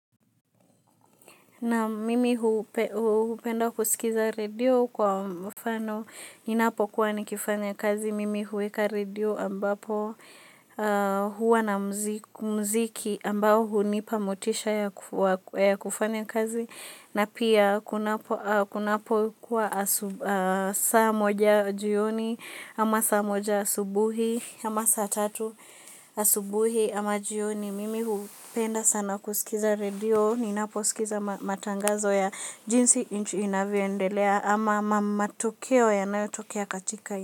Naam mimi hupenda kusikiza redio kwa mfano, ninapokuwa nikifanya kazi, mimi huweka redio ambapo huwa na muziki ambao hunipa motisha ya kufanya kazi, na pia kunapokuwa saa moja jioni ama saa moja asubuhi ama saa tatu asubuhi ama jioni. Mimi hupenda sana kusikiza redio ninaposikiza matangazo ya jinsi nchi inavyoendelea ama matokeo yanayotokea katika.